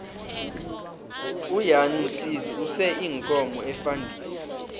ujan msiza use iinkomo efandisini